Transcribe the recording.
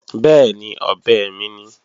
Bẹ́ẹ̀ni, ọ̀bẹ mi ni